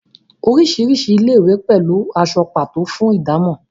orisirisi ilé-ìwé pẹlú aṣọ pato fún ìdámò